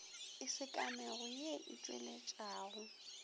e sekamego ye e tpweletpago